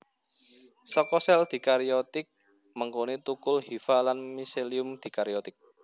Saka sel dikariotik mengkoné tukul hifa lan miselium dikariotik